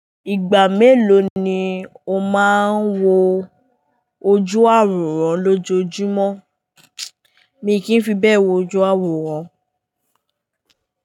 Ìgbà mélòó ni o máa ń wo ojú àwòrán lójoojúmọ́? Mi kì í fi bẹ́ẹ̀ wo ojú àwòrán.